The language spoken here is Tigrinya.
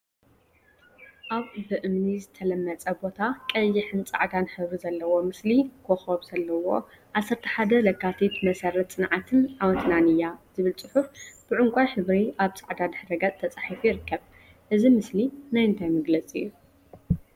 አብ ብእምኒ ዝተለመፀ ቦታ ቀይሕን ፃዕዳን ሕብሪ ዘለዎ ምስሊ ኮኮብ ዘለዎ “11 ለካቲት መሰረት ፅንዓትን ዓወትናን እያ!!” ዝብል ፅሑፍ ብዕንቋይ ሕብሪ አብ ፃዕዳ ድሕረ ገፅ ተፃሒፉ ይርከብ፡፡ እዚ ምስሊ ናይ እንታይ መግለፂ እዩ?